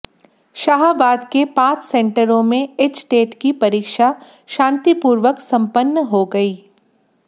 शाहाबाद के पांच सेंटरों में एचटेट की परीक्षा शांतिपूर्वक संपन्न हो गई